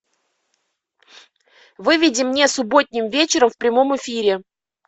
выведи мне субботним вечером в прямом эфире